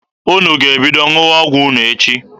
Unu ga-ebido ṅụwa ọgwụ unu echi.